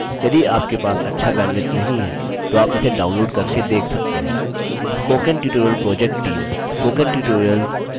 भारत सरकार के एमएचआरडी के आईसीटी के माध्यम से राष्ट्रीय साक्षरता mission द्वारा समर्थित है